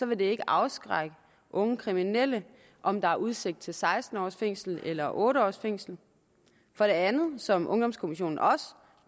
vil det ikke afskrække unge kriminelle om der er udsigt til seksten års fængsel eller otte års fængsel for det andet som ungdomskommissionen også